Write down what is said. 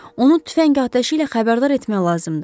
Onu tüfəng atəşi ilə xəbərdar etmək lazımdır.